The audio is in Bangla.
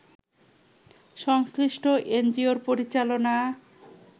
সংশ্লিষ্ট এনজিও’র পরিচালনা